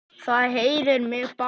Það heillar mig bara.